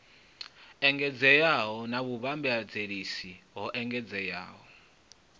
engedzeaho na vhuvhambadzaseli ho engedzeaho